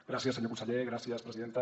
gràcies senyor conseller gràcies presidenta